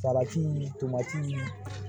Salati tomatii